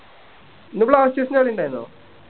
ഇന്ന് blasters ൻ്റെ കളി ഇണ്ടാരുന്നോ